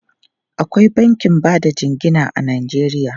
Akwai bankin ba da jingina a Najeriya.